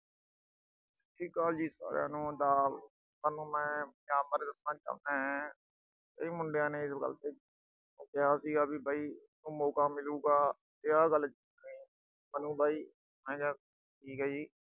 ਸਤਿ ਸ੍ਰੀ ਅਕਾਲ ਜੀ ਸਾਰਿਆਨੂੰ ਆਦਾਬ। ਤੁਹਾਨੂੰ ਮੈਂ ਪੰਜਾਬ ਬਾਰੇ ਦੱਸਣਾ ਚਾਹੁੰਨਾਂ। ਇਹ ਮੁੰਡਿਆਂ ਨੇ ਜੋ ਗਲਤੀ ਮੈਂ ਕਿਹਾ ਸੀਗਾ ਵੀ ਬਈ ਉਹ ਮੌਕਾ ਮਿਲੂਗਾ। ਤੇ ਆਹ ਗੱਲ ਸਾਨੂੰ ਬਈ। ਮੈਂ ਕਿਹਾ ਠੀਕ ਆ ਜੀ।